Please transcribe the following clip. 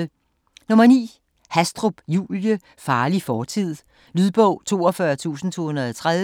Hastrup, Julie: Farlig fortid Lydbog 42230